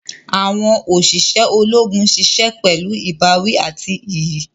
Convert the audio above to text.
Awọn oṣiṣẹ Ológùn ṣiṣẹ pẹlu ìbáwí àti iyì